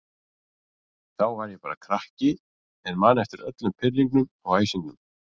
Þá var ég bara krakki en man eftir öllum pirringnum og æsingnum.